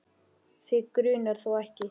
Þig grunar þó ekki?.